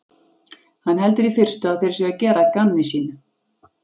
Hann heldur í fyrstu að þeir séu að gera að gamni sínu.